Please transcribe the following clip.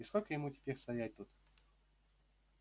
и сколько ему теперь стоять тут